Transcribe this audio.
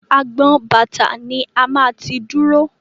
Agbọn bàtà ni a máa ti dúró.